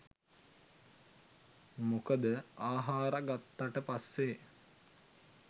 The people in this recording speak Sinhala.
මොකද ආහාර ගත්තට පස්සේ